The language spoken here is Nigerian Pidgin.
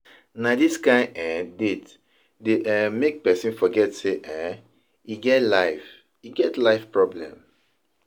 Na dis kain um date dey um make pesin forget sey um e get life e get life problems.